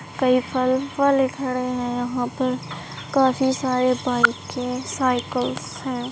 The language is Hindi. कई पर्पल घर है। यहाँ पर काफी सारे बाइके साइकिल्स है।